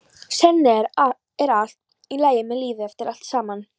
Sennilega er allt í lagi með lífið eftir allt saman.